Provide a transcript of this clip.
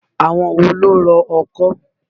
Àwọn wo ló ń rọ ọkọ́?